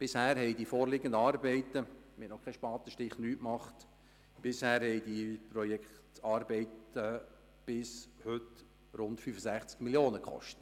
Bis heute haben die Projektarbeiten rund 65 Mio. Franken gekostet, obwohl wir noch keinen Spatenstich gemacht haben.